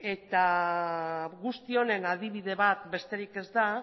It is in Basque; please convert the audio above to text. guzti honen adibide bat besterik ez da